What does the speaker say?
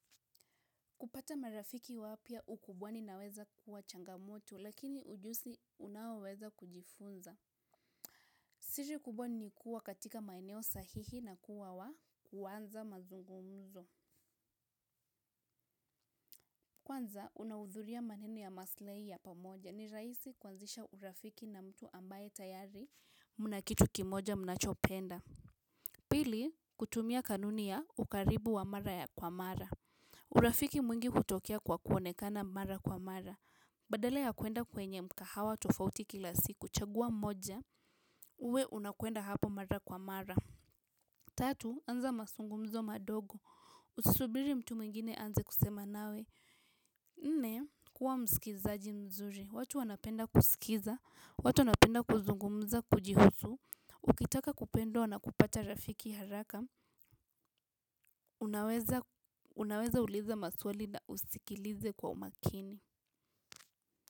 Kupata marafiki wapya ukubwani inaweza kuwa changamoto lakini ujuzi unaoweza kujifunza siri kubwani ni kuwa katika maeneo sahihi na kuwa wa kuwanza mazungumzo kwanza unaudhuria maneno ya maslahi ya pamoja ni raisi kuanzisha urafiki na mtu ambaye tayari mna kitu kimoja mnachopenda pili kutumia kanuni ya ukaribu wa mara ya kwa mara urafiki mwingi hutokea kwa kuonekana mara kwa mara badala ya kuenda kwenye mkahawa tofauti kila siku. Chagua mmoja, uwe unakwenda hapo mara kwa mara tatu, anza mazungumzo madogo. Usisubiri mtu mwingine aanze kusema nawe nne, kuwa mskilizaji mzuri watu wanapenda kusikiza watu wanapenda kuzungumza kujihusu. Ukitaka kupendwa na kupata rafiki haraka unaweza uliza maswali na usikilize kwa umakini.